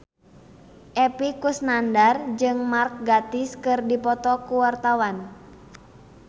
Epy Kusnandar jeung Mark Gatiss keur dipoto ku wartawan